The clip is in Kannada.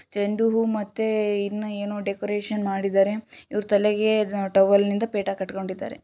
ಚೆಂಡು ಹೂ ಮತ್ತೆ ಇನ್ನು ಏನು ಡೆಕುರೇಷನ್ ಮಾಡಿದ್ದಾರೆ ಇವರ ತಲೆಗೆ ಟಾವಾಲನಿಂದ ಪೇಟಾ ಕಟ್ಟಿಕೊಂಡಿದ್ದಾರೆ.